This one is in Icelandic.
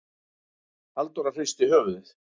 Halldóra hristi höfuðið.